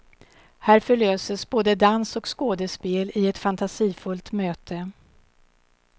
Här förlöses både dans och skådespel i ett fantasifullt möte.